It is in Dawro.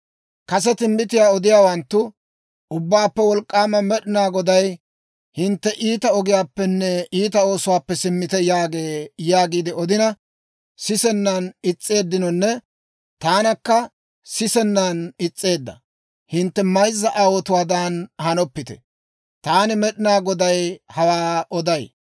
Kase timbbitiyaa odiyaawanttu, ‹Ubbaappe Wolk'k'aama Med'inaa Goday, hintte iita ogiyaappenne iita oosuwaappe simmite› yaagee» yaagiide odina sisennan is's'eeddinonne taanakka sisennan is's'eedda hintte mayzza aawotuwaadan hanoppite. Taani Med'inaa Goday hawaa oday.